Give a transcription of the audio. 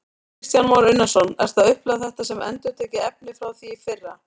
Kristján Már Unnarsson: Ertu að upplifa þetta sem endurtekið efni frá því í fyrra?